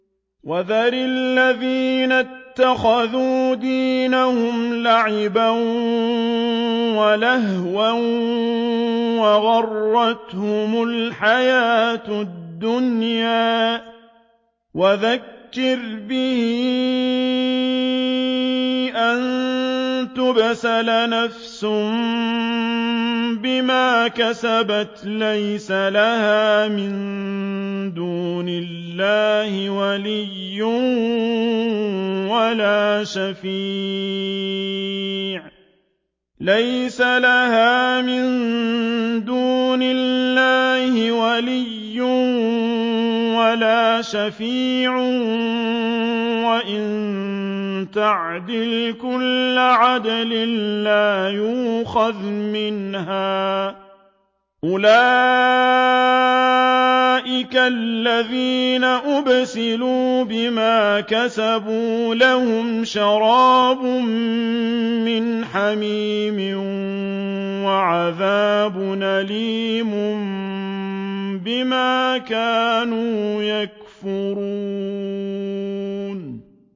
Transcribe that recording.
وَذَرِ الَّذِينَ اتَّخَذُوا دِينَهُمْ لَعِبًا وَلَهْوًا وَغَرَّتْهُمُ الْحَيَاةُ الدُّنْيَا ۚ وَذَكِّرْ بِهِ أَن تُبْسَلَ نَفْسٌ بِمَا كَسَبَتْ لَيْسَ لَهَا مِن دُونِ اللَّهِ وَلِيٌّ وَلَا شَفِيعٌ وَإِن تَعْدِلْ كُلَّ عَدْلٍ لَّا يُؤْخَذْ مِنْهَا ۗ أُولَٰئِكَ الَّذِينَ أُبْسِلُوا بِمَا كَسَبُوا ۖ لَهُمْ شَرَابٌ مِّنْ حَمِيمٍ وَعَذَابٌ أَلِيمٌ بِمَا كَانُوا يَكْفُرُونَ